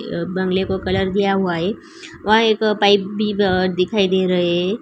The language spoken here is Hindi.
अ बंगले को कलर किया हुआ है वा एक पाइप भी दिखाई दे रहे है।